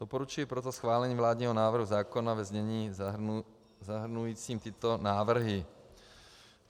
Doporučuji proto schválení vládního návrhu zákona ve znění zahrnujícím tyto návrhy.